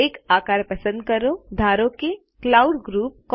એક આકાર પસંદ કરો ધારો કે ક્લાઉડ ગ્રુપ